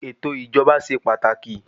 Ètò ìsèjọba ṣe pàtàkì.